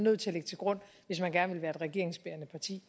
nødt til at lægge til grund hvis man gerne vil være et regeringsbærende parti